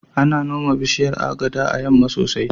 Ana noma bishiyar Agada a yamma sosai.